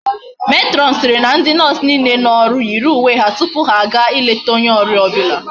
Matron siri na ndi nurse niile no oru yiri uwe ha tupu ha a ga ileta onye oria obula